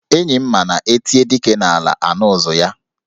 Enyi m ma na e tie dike n'ala, a nụ ụzụ ya.